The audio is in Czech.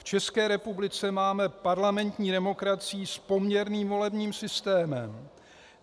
V České republice máme parlamentní demokracii s poměrným volebním systémem.